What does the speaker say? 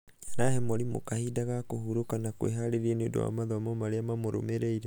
nĩirahe mwarimũ kahinda ga kũhurũka na kwĩharĩrĩria nĩũndũ wa mathomo maria marũmĩrĩire.